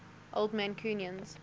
old mancunians